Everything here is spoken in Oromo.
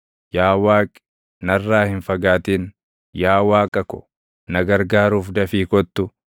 Yaa Waaqi, narraa hin fagaatin; yaa Waaqa ko, na gargaaruuf dafii kottu.